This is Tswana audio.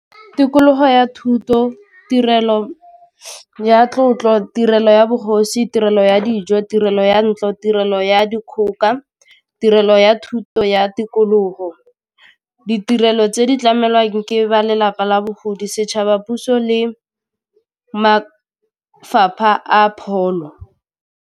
Tikologo ya thuto, tirelo ya tlotlo, tirelo ya bogosi, tirelo ya dijo, tirelo ya ntlo, tirelo ya dikgoka, tirelo ya thuto ya tikologo, ditirelo tse di tlamelwang ke ba lelapa la bogodi, setšhaba, puso le mafapha a pholo.